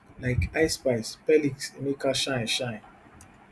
like ice spice perliks emeka shine shine